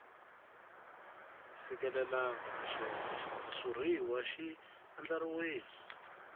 fikelelangi naswona xitshuriwa xi andlariwile